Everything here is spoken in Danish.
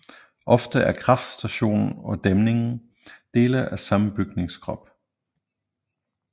Ofte er kraftstationen og dæmningen dele af samme bygningskrop